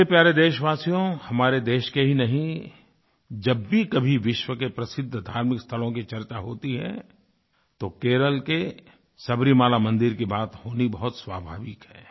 मेरे प्यारे देशवासियो हमारे देश के ही नहीं जब भी कभी विश्व के प्रसिद्ध धार्मिकस्थलों की चर्चा होती है तो केरल के सबरीमाला मंदिर की बात होनी बहुत स्वाभाविक है